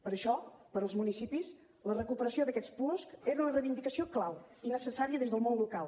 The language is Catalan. per això per als municipis la recuperació d’aquests puosc era una reivindicació clau i necessària des del món local